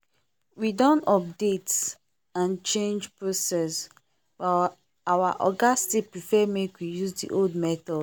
we don update and change process but our oga still prefer make we use the old method